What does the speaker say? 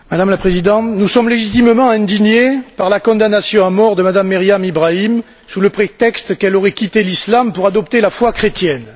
Madame la Présidente, nous sommes légitimement indignés par la condamnation à mort de Mme Meriam Yahia Ibrahim Ishag sous prétexte qu'elle aurait quitté l'Islam pour adopter la foi chrétienne.